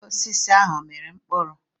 Osisi ahụ ọ mịrị mkpụrụ?